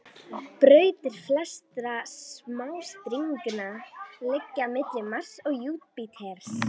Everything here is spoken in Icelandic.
Brautir flestra smástirnanna liggja milli Mars og Júpíters.